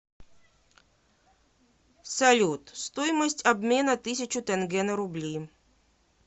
салют стоимость обмена тысячу тенге на рубли